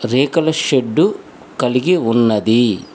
రేకుల షెడ్డు కలిగి ఉన్నది.